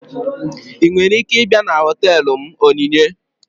Ị nwere ike ịbịa na họtelu m Onyinye?